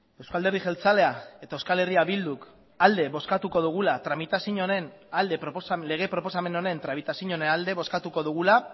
euskal alderdi jeltzailea eta eh bilduk alde bozkatuko dugula lege proposamen honen tramitazioaren alde